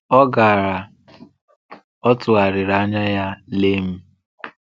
Ọ gàrà, ọ tụ̀gharịrị anya ya lee m.